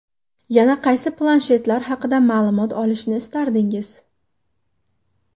Yana qaysi planshetlar haqida ma’lumot olishni istardingiz?